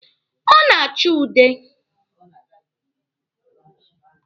Ọ na-achọ ude.